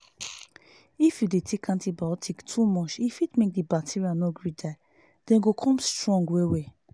if you dey take antibiotics to much e fit make the bacteria no gree die them go come strong well well